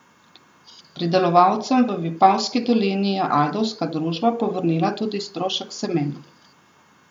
Pridelovalcem v Vipavski dolini je ajdovska družba povrnila tudi strošek semena.